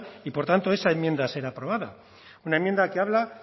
y por tanto esa enmienda será aprobada una enmienda que habla